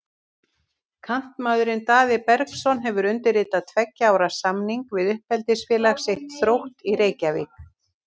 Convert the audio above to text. Kantmaðurinn Daði Bergsson hefur undirritað tveggja ára samning við uppeldisfélag sitt, Þrótt í Reykjavík.